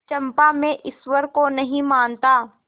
चंपा मैं ईश्वर को नहीं मानता